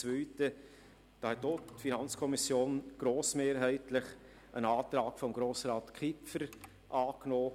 Zum zweiten Element: Diesbezüglich hat die FiKo auch grossmehrheitlich einen Antrag von Grossrat Kipfer angenommen.